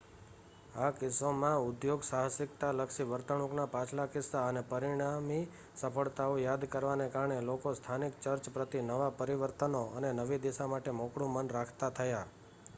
આ કિસ્સામાં ઉદ્યોગસાહસિકતાલક્ષી વર્તણૂકના પાછલા કિસ્સા અને પરિણામી સફળતાઓ યાદ કરવાને કારણે લોકો સ્થાનિક ચર્ચ પ્રતિ નવાં પરિવર્તનો અને નવી દિશા માટે મોકળું મન રાખતા થયા